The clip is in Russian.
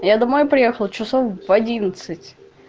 я домой приехала часов в одиннадцать